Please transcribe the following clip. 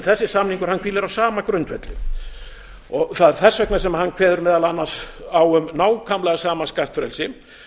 þessi samningur hvílir á sama grundvelli það er þess vegna sem hann kveður meðal annars á um nákvæmlega sama skattfrelsi